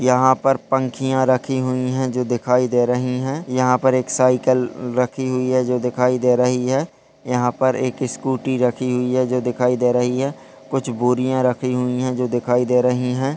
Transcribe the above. यहाँ पर पंखिया रखी हुवी है जो दिखाई दे रही है यहाँ पर एक साइकिल रखी हुवी है जो दिखाई दे रही है यहाँ पर एक स्कूटी रखी हुवी है जो दिखाई दे रही है कुछ बोरिया राखी हुवी है जो दिखाई दे रही हैं ।